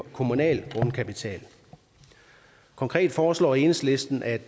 kommunal grundkapital konkret foreslår enhedslisten at